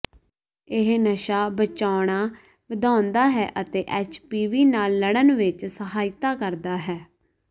ਇਹ ਨਸ਼ਾ ਬਚਾਉਣਾ ਵਧਾਉਂਦਾ ਹੈ ਅਤੇ ਐਚਪੀਵੀ ਨਾਲ ਲੜਨ ਵਿਚ ਸਹਾਇਤਾ ਕਰਦਾ ਹੈ